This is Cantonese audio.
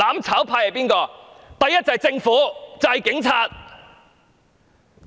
首先便是政府和警察。